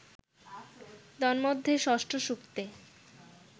তন্মধ্যে ষষ্ঠ সূক্তে